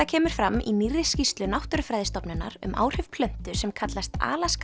kemur fram í nýrri skýrslu Náttúrufræðistofnunar um áhrif plöntu sem kallast